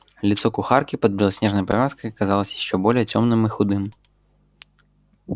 лицо кухарки под белоснежной повязкой казалось ещё более тёмным и худым